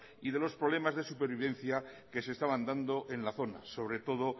y de los problemas de supervivencia que se estaban dando en la zona sobre todo